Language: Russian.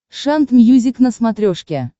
шант мьюзик на смотрешке